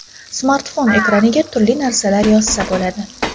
Smartfon ekraniga turli narsalar yozsa bo‘ladi.